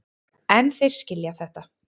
En þeir skilja þetta.